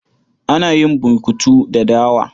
Ana yin burkutu da dawa.